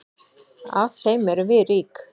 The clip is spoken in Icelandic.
Af þeim erum við rík.